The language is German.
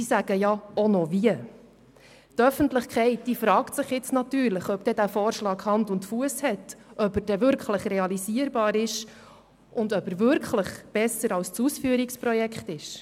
Die Öffentlichkeit fragt sich allerdings, ob der Vorschlag Hand und Fuss hat, ob er realisierbar ist und ob er wirklich besser als das Ausführungsprojekt ist.